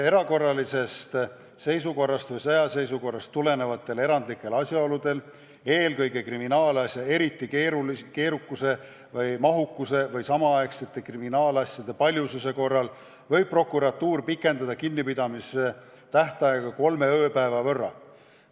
Erakorralisest seisukorrast või sõjaseisukorrast tulenevatel erandlikel asjaoludel, eelkõige kriminaalasja erilise keerukuse või mahukuse või samaaegsete kriminaalasjade paljususe korral võib prokuratuur pikendada kinnipidamise tähtaega kolme ööpäeva võrra.